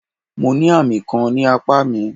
Mo ní àmì kan ní apá mi.